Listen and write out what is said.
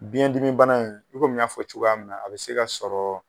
Biyɛndimi bana in i komi n y'a fɔ cogoya min na a bɛ se ka sɔrɔ